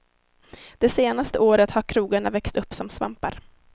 Det senaste året har krogarna växt upp som svampar.